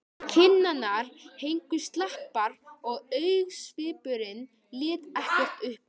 Kinnarnar héngu slapar og augnsvipurinn lét ekkert uppi.